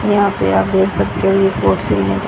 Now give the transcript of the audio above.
यहां पे आप देख सकते हो कुर्सी--